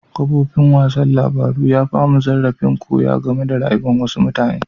Kafofin wasan labaru ya ba mu zarrafin koya game da rayuwa'n wasu mutane.